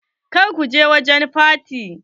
Kar ku je wajen faty!